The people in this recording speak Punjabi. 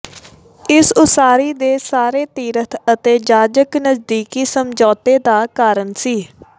ਇਸ ਉਸਾਰੀ ਦੇ ਸਾਰੇ ਤੀਰਥ ਅਤੇ ਜਾਜਕ ਨਜ਼ਦੀਕੀ ਸਮਝੌਤੇ ਦਾ ਕਾਰਨ ਸੀ